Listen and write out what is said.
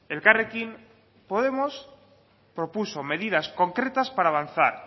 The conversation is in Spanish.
elkarrekin podemos propuso medidas concretas para avanzar